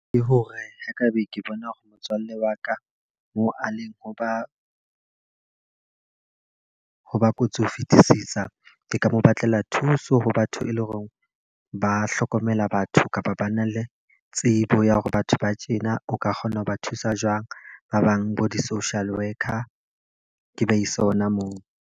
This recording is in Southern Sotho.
Ke hore ho ka be ke bona hore motswalle wa ka moo a leng ho ba ho ba kotsi ho fetisisa. Ke ka mo batlela thuso ho batho e leng hore ho ba hlokomela batho kapa ba na le tsebo ya hore batho ba tjena o ka kgona ho ba thusa jwang. Ba bang bo di-social worker ke ba ise hona moo.